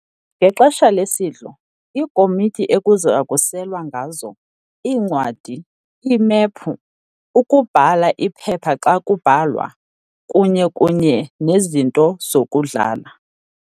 ngexesha lesidlo, iikomotyi ekuzakuselwa ngazo, iincwadi, imephu, ukubhala iphepha xa kubhalwa, kunye kunye nezinto zokudlala.